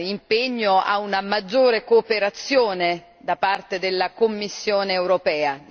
impegno a una maggiore cooperazione da parte della Commissione europea.